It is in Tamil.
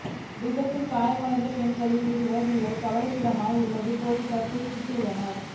விபத்தில் காயமடைந்த பெண்களில் இருவரின் நிலை கவலைக்கிடமாகவுள்ளதாக பொலிஸார் குறிப்பிட்டுள்ளனர்